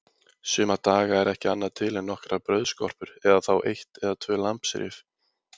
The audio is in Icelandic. Suma daga er ekki annað til en nokkrar brauðskorpur eða þá eitt eða tvö lambsrif.